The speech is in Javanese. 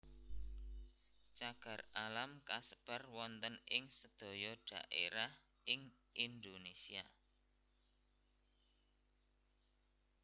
Cagar alam kasebar wonten ing sedaya dhaerah ing Indonesia